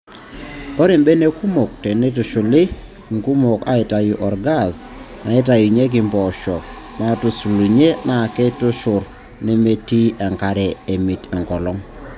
Ore mbenek kumok teneitushuli nkumok aaitayu orgaas naaitaunyeki mpoosho naatusulunye naa keitushurr nemitiki enkare emit enkolong.